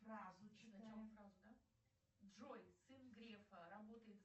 джой сын грефа работает